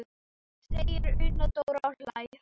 segir Una Dóra og hlær.